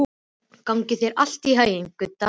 Gangi þér allt í haginn, Gudda.